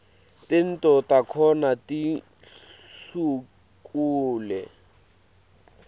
tento takhona tihlukule